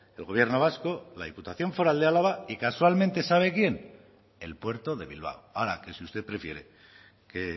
el gobierno vasco la diputación foral de álava y casualmente sabe quién el puerto de bilbao ahora que si usted prefiere que